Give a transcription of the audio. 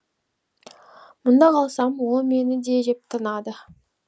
мұнда қалсам ол мені де жеп тынады